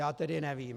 Já tedy nevím.